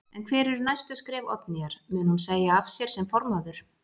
En hver eru næstu skref Oddnýjar, mun hún segja af sér sem formaður?